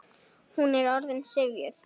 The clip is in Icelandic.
Hún er orðin syfjuð.